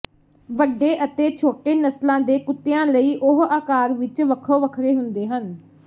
ਵੱਡੇ ਅਤੇ ਛੋਟੇ ਨਸਲਾਂ ਦੇ ਕੁੱਤਿਆਂ ਲਈ ਉਹ ਆਕਾਰ ਵਿਚ ਵੱਖੋ ਵੱਖਰੇ ਹੁੰਦੇ ਹਨ